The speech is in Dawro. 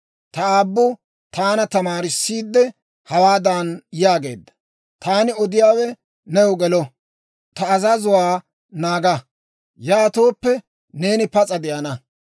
Ta aabbu taana tamaarissiidde, hawaadan yaageedda; «Taani odiyaawe new gelo; ta azazuwaa naaga; yaatooppe, neeni pas'a de'ana.